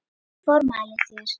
Ég formæli þér